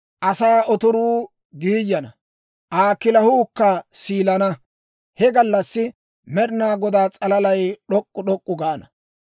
Asaa otoruu giiyana; Aa kilahuukka siilana; he gallassi Med'inaa Godaa s'alalay d'ok'k'u d'ok'k'u gaana.